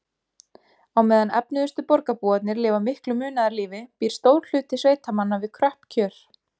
Á meðan efnuðustu borgarbúarnir lifa miklu munaðarlífi býr stór hluti sveitamanna við kröpp kjör.